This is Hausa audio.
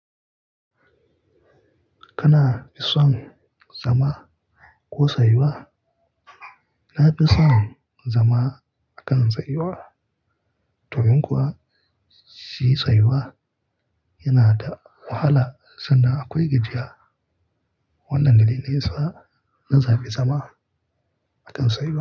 Kana fi son zama ko tsayuwa? Na fi son zama akan tsayuwa. Domin kuwa shi tsayuwa yana da wahala sanda akwai gajiya. Wannan dalili ne sa na zaɓi zama akan tsayuwa.